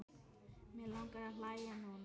Mig langar að hlæja núna.